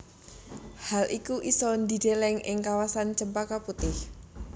Hal iku isa dideleng ing kawasan Cempaka Putih